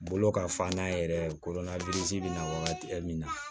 Bolo ka fa n'a yɛrɛ kolo na biriki be na wagati min na